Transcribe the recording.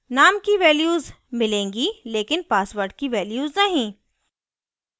name की values मिलेंगी लेकिन password की values नहीं